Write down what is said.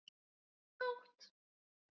Nótt